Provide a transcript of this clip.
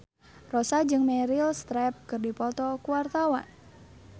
Rossa jeung Meryl Streep keur dipoto ku wartawan